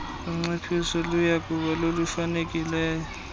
unciphiso luyakuba lolufanelekileyo